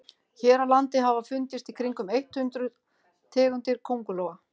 hér á landi hafa fundist í kringum eitt hundruð tegundir köngulóa